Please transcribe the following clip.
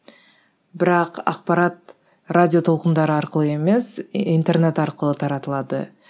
бірақ ақпарат радио толқындары арқылы емес интернет арқылы таратылады